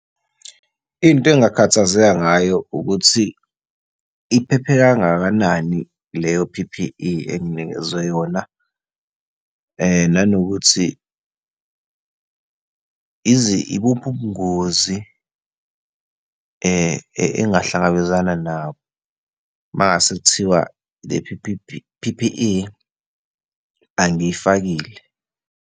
Into engingakhathazeka ngayo ukuthi iphephe kangakanani leyo P_P_E enginikezwe yona, nanokuthi ibuphi ubungozi engingahlangabezana nabo uma ngase kuthiwa le P_P_E angiyifakile.